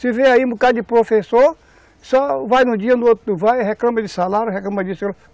Se vê aí um bocado de professor, só vai num dia, no outro não vai, reclama de salário, reclama